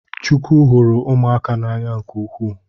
Chukwu hụrụ ụmụaka n’anya nke ukwu